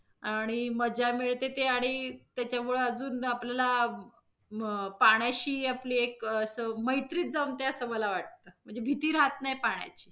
आणि मजा मिळते ते आणि त्याच्यामुळे अजून आपल्याला अं पाण्याशी आपली एक अस मैत्रीच जमते अस मला वाटत म्हणजे भिती राहत नाही पाण्याची.